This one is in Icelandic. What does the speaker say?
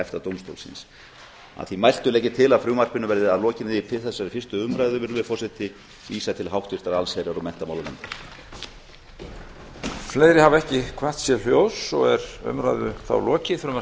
efta dómstólsins að því mæltu legg ég til að frumvarpinu verði að lokinni þessari fyrstu umræðu virðulegi forseti vísað til háttvirtrar allsherjar og menntamálanefndar